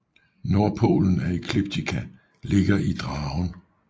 Nordpolen af ekliptika ligger i Dragen